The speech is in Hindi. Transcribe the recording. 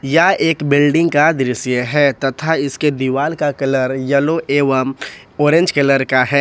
यह एक बिल्डिंग का दृश्य है तथा इसके दीवाल का कलर येलो एवं ऑरेंज कलर का है।